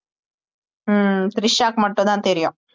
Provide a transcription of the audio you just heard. ஹம் திரிஷாக்கு மட்டும் தான் தெரியும்